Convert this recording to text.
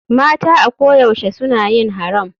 Mata a ko da yaushe suna yin haram.